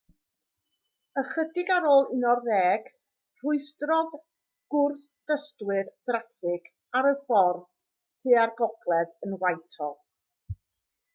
ychydig ar ôl 11:00 rhwystrodd gwrthdystwyr draffig ar y ffordd tua'r gogledd yn whitehall